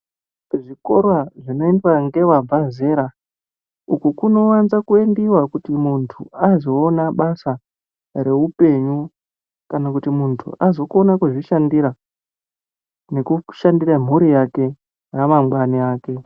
Zvikora zvinoendwa ngevabva zera, uku kunowanza kuendiwa kuti muntu azowona basa rehupenyu, kana kuti muntu azokona kuzvishandira nekushandira mhuri yake ramangwana rake.